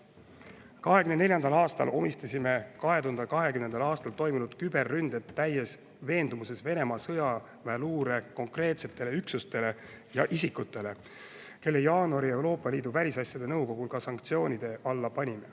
2024. aastal omistasime 2020. aastal toimunud küberründed täies veendumuses Venemaa sõjaväeluure konkreetsetele üksustele ja isikutele, kelle jaanuaris Euroopa Liidu välisasjade nõukogul ka sanktsioonide alla panime.